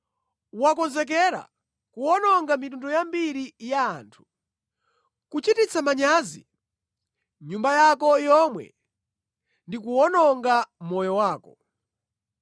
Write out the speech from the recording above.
Wakonzekera kuwononga mitundu yambiri ya anthu, kuchititsa manyazi nyumba yako yomwe ndi kuwononga moyo wako.